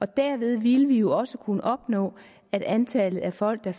derved ville vi jo også kunne opnå at antallet af folk der